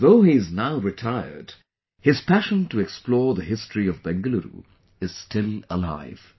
Though he is now retired, his passion to explore the history of Bengaluru is still alive